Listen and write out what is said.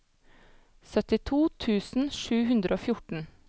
syttito tusen sju hundre og fjorten